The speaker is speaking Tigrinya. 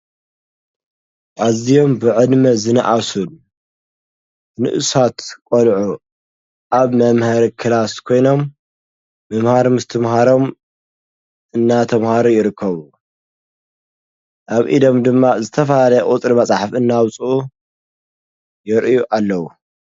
ኣዝዮም ብዕድመ ዝነኣሱ ንኡሳት ቆልዑ ኣብ መምሀሪ ክላስ ኮይኖም ምምሃር ምስትምሃሮም እናተምሃሩ ይርከቡ ።ኣብ ኢዶም ድማ ዝተፈላለየ ቁፅሪ መፅሓፍ እናውፅኡ የርእዩ ኣለዉ።